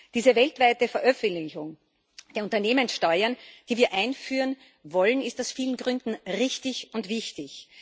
Diese weltweite Veröffentlichung der Unternehmenssteuern, die wir einführen wollen, ist aus vielen Gründen richtig und wichtig.